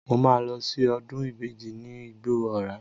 Mo máa lọ sí ọdún ìbejì ní Igbó Ọrà.